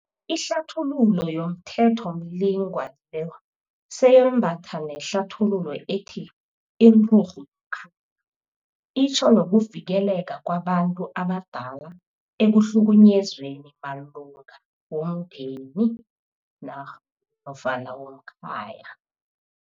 Ihlathululo yomThethomlingwa lo seyembatha nehlathululo ethi 'inturhu yomkhaya' itjho nokuvikeleka kwabantu abadala ekuhlukunyezweni malunga womndeni nofana womkhaya.